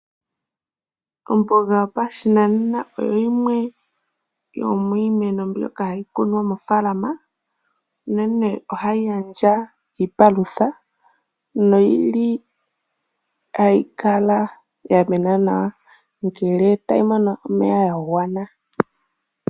Omboga yopashinanena oyo yimwe yomiimeno mbyono hayikunwa mo faalama. Unene ohayi gandja iipalutha, noyili hayi kala yamena nawa ngele tayimono omeya gwagana.